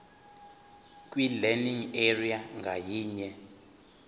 kwilearning area ngayinye